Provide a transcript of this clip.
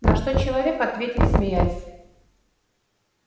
на что человек ответил смеясь